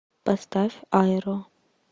поставь айро